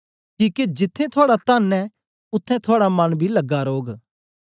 किके जिथें थुआड़ा तन ऐ उत्थें थुआड़ा मन बी लगा रौग